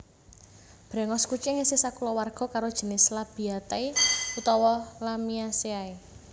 Bréngos kucing isih sakulawarga karo jinis Labiatae utawa Lamiaceae